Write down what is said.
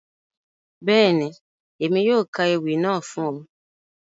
Bẹ́ẹ̀ni, Emi yóò ka ewi naa fun ọ.